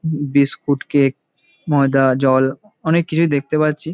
উম biscuit cake ময়দা জল অনেক কিছুই দেখতে পাচ্ছি।